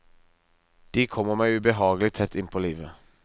De kommer meg ubehagelig tett inn på livet.